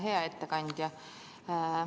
Hea ettekandja!